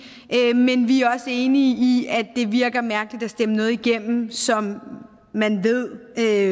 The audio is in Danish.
men vi er også enige i at det virker mærkeligt at stemme noget igennem som man ved er